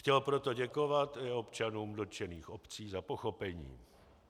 Chtěl proto děkovat i občanům dotčených obcí za pochopení.